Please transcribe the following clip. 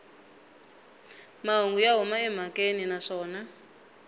mahungu ya huma emhakeni naswona